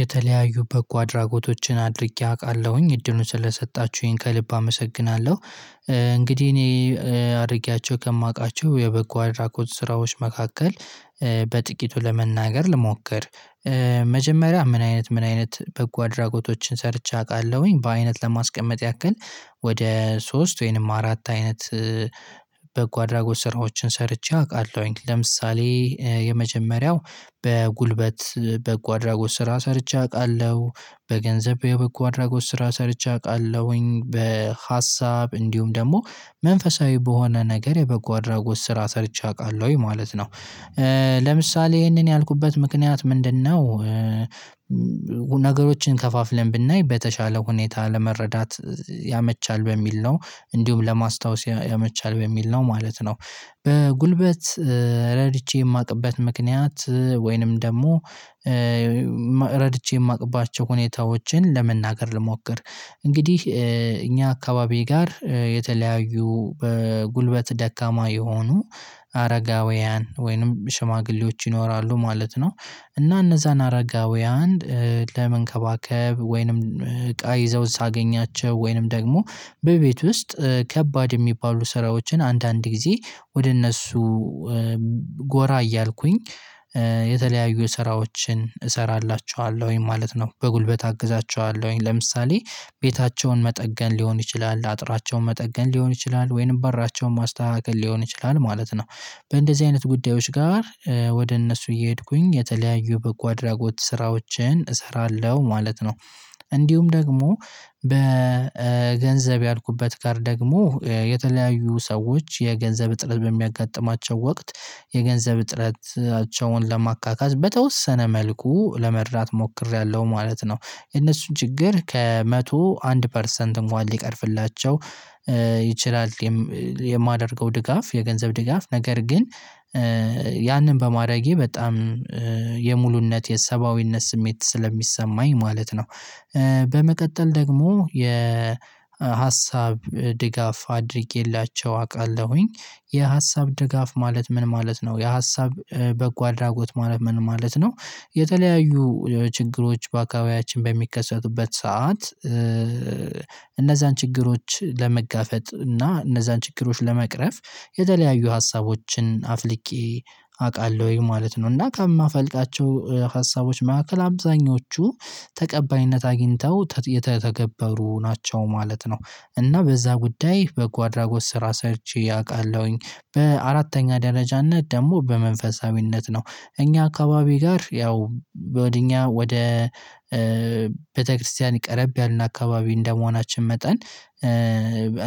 የተለያዩ በጎ አድራጎቶችን አድርጌ አውቃለሁኝ እድሉን ስለሰጣችሁኝ ከልብ አመሰግናለሁ። እንግዲህ እኔ አድርጌያቸው ከማውቃቸው የበጎ አድራጎት ስራዎች መካከል በጥቂቱ ለመናገር ልሞክር። መጀመሪያ ምን አይነት ምን አይነት በጎ አድራጎቶችን ሰርቼ አውቃለሁኝ በአይነት ለማስቀመጥ ያክል ወደ ሶስት ወይንም አራት አይነት። በጎ አድራጎት ስራዎችን ሰርቼ አውቃለሁኝ ለምሳሌ የመጀመሪያው በጉልበት በጎ አድራጎት ስራ ሰርቼ አውቃለሁ በገንዘብ የበጎ አድራጎት ስራ ሰርቼ አውቃለሁኝ በሀሳብ እንዲሁም ደግሞ መንፈሳዊ በሆነ ነገር የበጎ አድራጎት ስራ ሰርቼ አውቃለሁኝ ማለት ነው። ለምሳሌ ይሄንን ያልኩበት ምክንያት ምንድነው? ነገሮችን ከፋፍለን ብናይ በተሻለ ሁኔታ ለመረዳት ያመቻል በሚል ነው እንዲሁም ለማስታወስ ያመቻል በሚል ነው ማለት ነው። በጉልበት ረድቼ የማውቅበት ምክንያት ወይንም ደግሞ ረድቼ የማውቅባቸው ሁኔታዎችን ለመናገር ልሞክር። እንግዲህ እኛ አካባቢ ጋር የተለያዩ በጉልበት ደካማ የሆኑ አረጋውያን ወይንም ሽማግሌዎች ይኖራሉ ማለት ነው። እና እነዛን አረጋዊያን ለመንከባከብ ወይንም እቃ ይዘውን ሳገኛቸው ወይንም ደግሞ በቤት ውስጥ ከባድ የሚባሉ ስራዎችን አንዳንድ ጊዜ ወደ እነሱ ጎራ እያልኩኝ የተለያዩ ስራዎችን እሰራላችኋለሁኝ ማለት ነው። በጉልበት አግዛችኋለሁኝ ለምሳሌ ቤታቸውን መጠገን ሊሆን ይችላል አጥራቸውን መጠገን ሊሆን ይችላል ወይንም በራቸውን ማስተካከል ሊሆን ይችላል ማለት ነው። በእንደዚህ አይነት ጉዳዮች ጋር ወደ እነሱ እየሄድኩኝ የተለያዩ በጎ አድራጎት ስራዎችን እሰራለሁ ማለት ነው። እንዲሁም ደግሞ በገንዘብ ያልኩበት ጋር ደግሞ የተለያዩ ሰዎች የገንዘብ እጥረት በሚያጋጥማቸው ወቅት የገንዘብ እጥረታቸውን ለማካካስ በተወሰነ መልኩ ለመርዳት ሞክሬያለሁ ማለት ነው። የነሱን ችግር ከመቶ አንድ ፐርሰንት እንኳን ሊቀርፍላቸው ይችላል። የማደርገው ድጋፍ የገንዘብ ድጋፍ ነገር ግን ያንን በማድረጌ በጣም የሙሉነት የሰባዊነት ስሜት ስለሚሰማኝ ማለት ነው። በመቀጠል ደግሞ የ የሀሳብ ድጋፍ አድርጌላቸው አውቃለሁኝ። የሀሳብ ደጋፍ ማለት ምን ማለት ነው? የሀሳብ በጎ አድራጎት ማለት ምን ማለት ነው? የተለያዩ ችግሮች በአካባቢያችን በሚከሰቱበት ሰዓት እነዛን ችግሮች ለመጋፈጥ እና እነዛን ችግሮች ለመቅረፍ የተለያዩ ሀሳቦችን አፍልቄ አውቃለሁኝ ማለት ነው እና ከማፈልቃቸው ሀሳቦች መካከል አብዛኞቹ ተቀባይነት አግኝተው የተተገበሩ ተገበሩ ናቸው ማለት ነው። እና በዛ ጉዳይ በጎ አድራጎት ስራ ሰርቼ አውቃለሁኝ። በአራተኛ ደረጃነት ደግሞ በመንፈሳዊነት ነው። እኛ አካባቢ ጋር ያው ወደ እኛ ወደ ቤተክርስቲያን ቀረብ ያልን አካባቢ እንደመሆናችን መጠን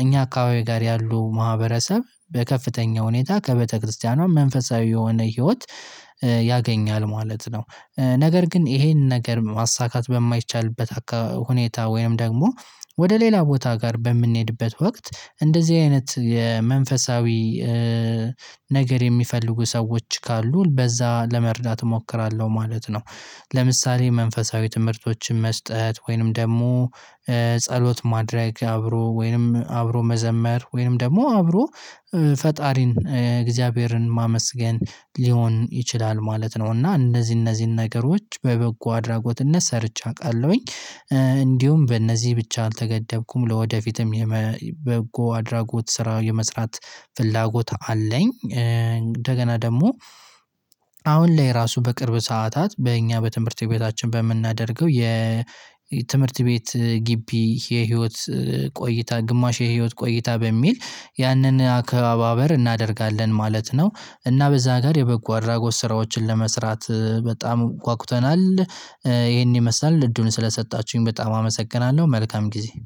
እኛ አካባቢ ጋር ያሉ ማህበረሰብ በከፍተኛ ሁኔታ ከበተክርስቲያኗ መንፈሳዊ የሆነ ህይወት ያገኛል ማለት ነው። ነገር ግን ይሄንን ነገር ማሳካት በማይቻልበት ሁኔታ ወይም ደግሞ ወደ ሌላ ቦታ ጋር በምንሄድበት ወቅት እንደዚህ አይነት የመንፈሳዊ ነገር የሚፈልጉ ሰዎች ካሉ በዛ ለመርዳት እሞክራለሁ ማለት ነው። ለምሳሌ መንፈሳዊ ትምህርቶችን መስጠት ወይንም ደግሞ ጸሎት ማድረግ አብሮ ወይንም አብሮ መዘመር ወይንም ደግሞ አብሮ ፈጣሪን የእግዚአብሔርን ማመስገን ሊሆን ይችላል ማለት ነው። እና እነዚህ እነዚህን ነገሮች በበጎ አድራጎትነት ሰርቼ አውቃለሁኝ። እንዲሁም በእነዚህ ብቻ አልተገደብኩም ለወደፊትም የበጎ አድራጎት ስራ የመስራት ፍላጎት አለኝ። እንደገና ደግሞ አሁን ላይ ራሱ በቅርብ ሰዓታት በእኛ በትምህርት ቤታችን በምናደርገው የ ትምህርት ቤት ግቢ የህይወት ቆይታ ግማሽ የህይወት ቆይታ በሚል ያንን አካባበር እናደርጋለን ማለት ነው። እና በዛ ጋር የበጎ አድራጎት ስራዎችን ለመስራት በጣም ጉአጉተናል ይሄን ይመስላል እድሉን ስለሰጣችሁኝ በጣም አመሰግናለሁ። መልካም ጊዜ